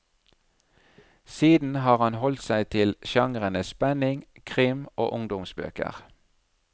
Siden har han holdt seg til sjangrene spenning, krim og ungdomsbøker.